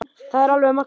Það er alveg magnað.